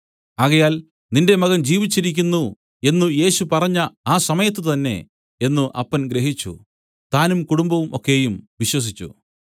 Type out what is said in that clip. ആകയാൽ നിന്റെ മകൻ ജീവിച്ചിരിക്കുന്നു എന്നു യേശു പറഞ്ഞ ആ സമയത്തുതന്നെ എന്നു അപ്പൻ ഗ്രഹിച്ചു താനും കുടുംബം ഒക്കെയും വിശ്വസിച്ചു